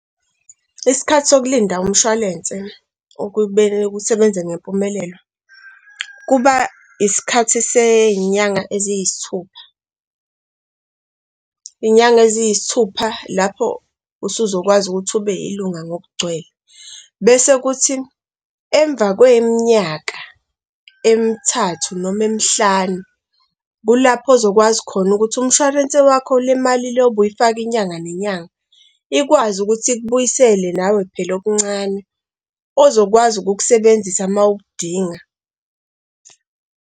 Isikhathi sokulinda umshwalense okube kusebenze ngempumelelo, kuba isikhathi sey'nyanga eziyisithupha. Iy'nyanga eziyisithupha lapho usuzokwazi ukuthi ube yilunga ngokugcwele, bese kuthi emva kweminyaka emithathu noma emihlanu, kulapho ozokwazi khona ukuthi umshwalense wakho le mali le ubuy'faka inyanga nenyanga ikwazi ukuthi ikubuyisele nawe phela okuncane ozokwazi ukukusebenzisa uma ukudinga.